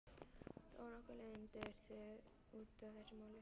Þó nokkur leiðindi urðu út af þessu máli.